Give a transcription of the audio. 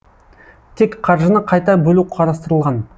тек қаржыны қайта бөлу қарастырылған